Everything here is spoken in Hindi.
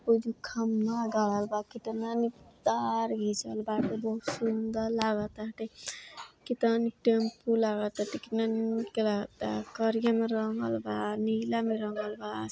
वोईजु खंभा गाड़ल बा। कितना निक तार घिचल बा। बहुत सुंदर लागता ते। कितना निक टेम्पु लागताते। कितना निक लागता। करिया मे रंगल बा। नीला रंगल बा।